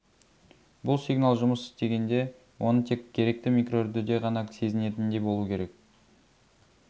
бұл сигнал жұмыс істегенде оны тек керекті микроүрдіде ғана сезінетіндей болу керек